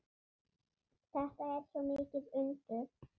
Þetta er svo mikið undur.